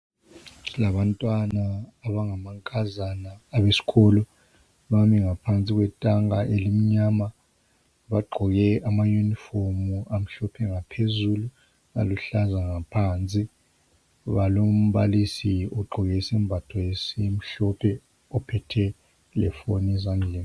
Kulabantwana abangamankazana abesikolo ,bami ngaphansi kwetanka elimnyama .Bagqoke amayunifomu amhlophe ngaphezulu ,aluhlaza ngaphansi. Balombalisi ogqoke isembatho esimhlophe ophethe lefoni ezandleni.